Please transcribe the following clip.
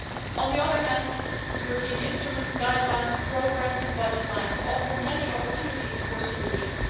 On the other hand, European instruments, guidelines, programmes and budget lines offer many opportunities for solutions.